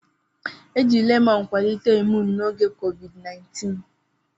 Eji lemọn kwalite imuun n'oge COVID-19.